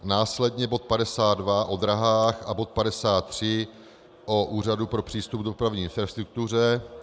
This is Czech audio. Následně bod 52 o dráhách a bod 53 o Úřadu pro přístup k dopravní infrastruktuře.